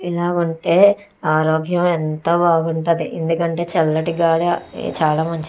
ఇలా ఉంటే ఆరోగ్యం ఎంతో బాగుంటది ఎందుకంటే చల్లటి గాలి చాలా మంచిది.